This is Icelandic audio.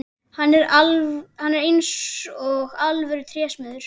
Hann er eins og alvöru trésmiður.